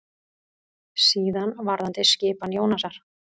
Síðan varðandi skipan Jónasar.